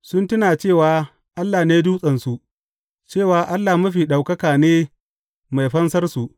Sun tuna cewa Allah ne Dutsensu, cewa Allah Mafi Ɗaukaka ne Mai fansarsu.